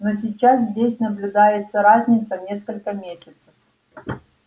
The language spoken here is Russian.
но сейчас здесь наблюдается разница в несколько месяцев